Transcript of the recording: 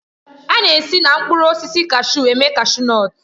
A na-esi na mkpụrụ osisi kashu eme kashu nọtu.